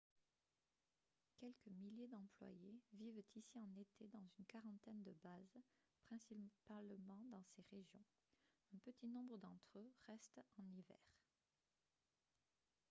quelques milliers d'employés vivent ici en été dans une quarantaine de bases principalement dans ces régions un petit nombre d'entre eux restent en hiver